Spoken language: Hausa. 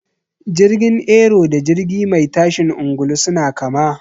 Jirgin Aero da jirgi mai tashin angulu suna kama.